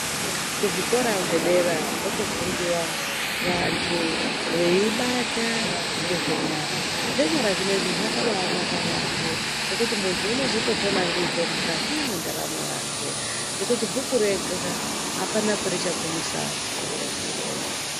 Kuzvikora zvedera kotofundiwa vantu weibata ngezve nyara, zvenyara zvinezvi zvakanabanaka yaambo ngekuti muntu unozotopona ndizvo mukati mwendaramo yake, nekuti bhuku rega hapana kwari chagumisa antu.